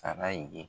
Sala ye